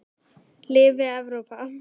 Lifi Evrópa.